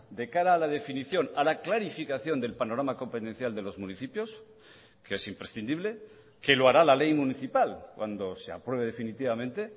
de cara a la definición a la clarificación del panorama competencial de los municipios que es imprescindible que lo hará la ley municipal cuando se apruebe definitivamente